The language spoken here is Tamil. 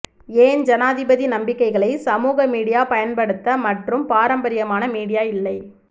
ஏன் ஜனாதிபதி நம்பிக்கைகளை சமூக மீடியா பயன்படுத்த மற்றும் பாரம்பரியமான மீடியா இல்லை